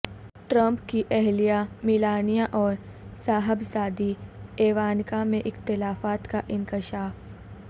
Trump کی اہلیہ Melania اور صاحبزادی ایوانکا میں اختلافات کا انکشاف